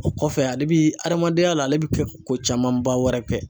O kɔfɛ ale bi adamadenya la ale bi ko camanba wɛrɛ kɛ.